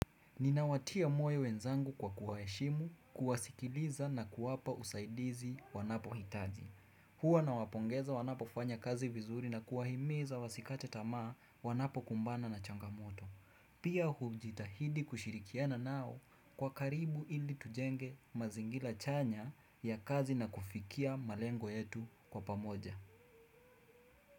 Ninawatia moyo wenzangu kwa kuwaheshimu, kuwasikiliza na kuwapa usaidizi wanapohitaji. Hua nawapongeza wanapofanya kazi vizuri na kuwahimiza wasikate tamaa wanapokumbana na changamoto. Pia hujitahidi kushirikiana nao kwa karibu ili tujenge mazingira chanya ya kazi na kufikia malengo yetu kwa pamoja.